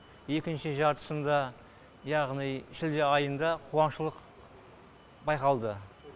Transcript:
екінші жартысында яғни шілде айында қуаңшылық байқалды